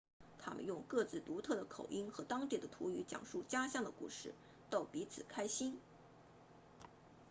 他们用各自独特的口音和当地的土语讲述家乡的故事逗彼此开心